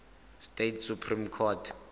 states supreme court